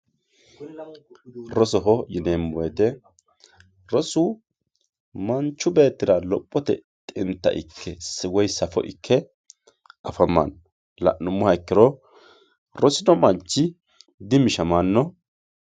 Roosoho yinemo wooyitte roosu manchu beetira lophote xintta ike woyyi saafo ike afamanno lanumoha ikiro roosino manchi di mishamano